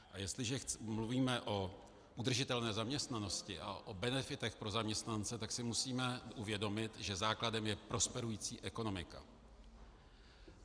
A jestliže mluvíme o udržitelné zaměstnanosti a o benefitech pro zaměstnance, tak si musíme uvědomit, že základem je prosperující ekonomika.